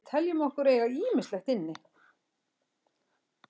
Við teljum okkur eiga ýmislegt inni.